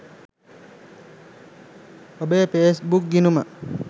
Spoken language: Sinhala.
ඔබේ ෆේස්බුක් ගිණුම